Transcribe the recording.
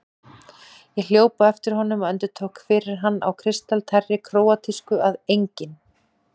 Ég hljóp á eftir honum og endurtók fyrir hann á kristaltærri króatísku að ENGINN